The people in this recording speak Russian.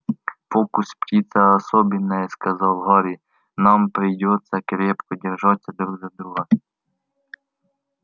фокус птица особенная сказал гарри нам придётся крепко держаться друг за друга